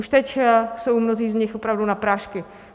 Už teď jsou mnozí z nich opravdu na prášky.